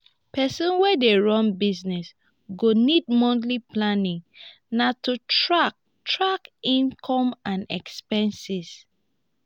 pesin wey dey run business go need monthly planning na to track track income and expenses.